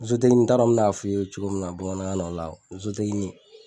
n t'a dɔn n be n'a f'i ye cogo min na bamanankan na o la